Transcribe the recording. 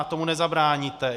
A tomu nezabráníte.